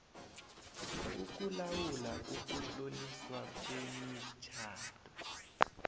ukulawula ukutloliswa kwemitjhado